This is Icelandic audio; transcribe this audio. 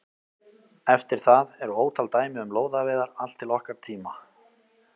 Eftir það eru ótal dæmi um lóðaveiðar allt til okkar tíma.